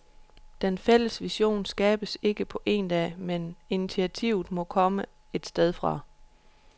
Den fælles vision skabes ikke på en dag, men initiativet må komme et sted fra.